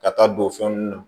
Ka taa don fɛn ninnu na